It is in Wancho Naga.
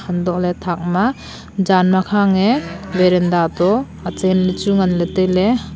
untohley thakma janma khang e varanda to achen lechu nganley tailey.